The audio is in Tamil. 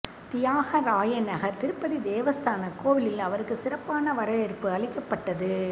தியாகராயநகர் திருப்பதி தேவஸ்தான கோவிலில் அவருக்கு சிறப்பான வரவேற்பு அளிக்கப்பட்டது